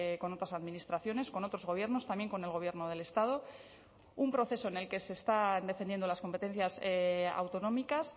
con otras administraciones con otros gobiernos también con el gobierno del estado un proceso en el que se están defendiendo las competencias autonómicas